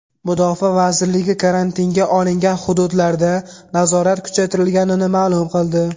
Mudofaa vazirligi karantinga olingan hududlarda nazorat kuchaytirilganini ma’lum qildi .